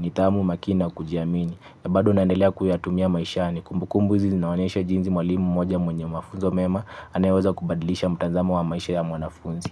nidhamu makini na kujiamini. Na bado naendelea kuyatumia maishani. Kumbu kumbu hizi zinaonyesha jinsi mwalimu mmoja mwenye mafunzo mema. Anayaweza kubadilisha mtazamo wa maisha ya mwanafunzi.